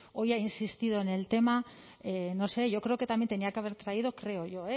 hoy ha insistido en el tema no sé yo creo que también tenía que haber traído creo yo